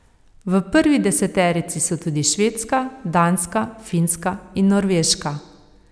V prvi deseterici so tudi Švedska, Danska, Finska in Norveška.